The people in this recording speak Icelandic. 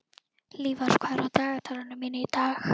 Hlífar, hvað er á dagatalinu mínu í dag?